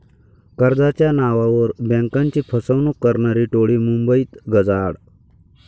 कर्जाच्या नावावर बँकाची फसवणूक करणारी टोळी मुंबईत गजाआड